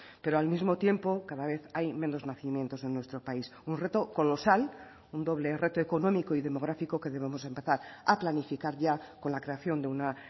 pero al mismo tiempo cada vez hay menos nacimientos en nuestro país un reto colosal un doble reto económico y demográfico que debemos empezar a planificar ya con la creación de una